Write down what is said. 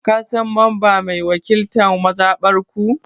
Ka San mamba mai wakiltan mazabar ku?